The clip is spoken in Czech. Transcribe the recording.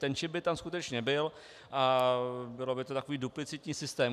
Ten čip by tam skutečně byl a byl by to takový duplicitní systém.